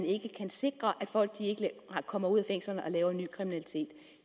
ikke kan sikre at folk ikke kommer ud af fængslerne og laver ny kriminalitet